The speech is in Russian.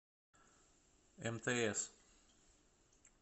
мтс